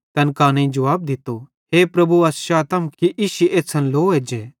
तैन कानेईं जुवाब दित्तो हे प्रभु अस चातम कि इश्शी एछ़्छ़न लो एज्जे